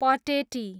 Pateti